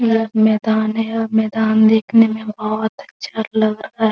यह एक मैदान है और मैदान देखने में बहुत अच्छा लग रहा है।